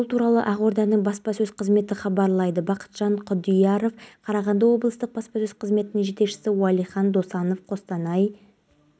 білген ол балалар бақшасында аспазшы болып жұмыс істейді абылай компьютер техникаларын жөндеумен айналысады олар бір